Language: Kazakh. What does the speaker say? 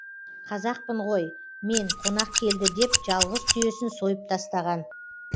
қазақпын ғой мен қонақ келді деп жалғыз түйесін сойып тастаған